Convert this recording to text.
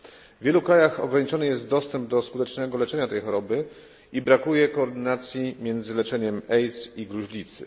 W wielu krajach ograniczony jest dostęp do skutecznego leczenia tej choroby i brakuje koordynacji między leczeniem AIDS i gruźlicy.